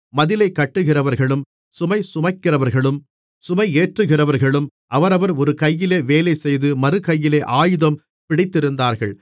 மதிலை கட்டுகிறவர்களும் சுமைசுமைக்கிறவர்களும் சுமையேற்றுகிறவர்களும் அவரவர் ஒரு கையிலே வேலைசெய்து மறுகையிலே ஆயுதம் பிடித்திருந்தார்கள்